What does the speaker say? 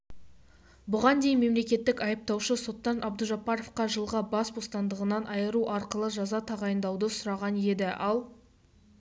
бұған дейін мемлекеттік айыптаушы соттан абдужаббаровқа жылға бас ботандығынан айыру арқылы жаза тағайындауды сұраған еді ал